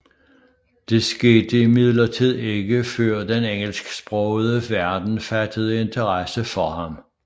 Det skete imidlertid ikke før den engelsksprogede verden fattede interesse for ham